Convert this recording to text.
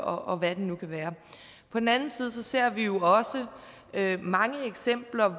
og hvad det nu kan være på den anden side ser vi jo også mange eksempler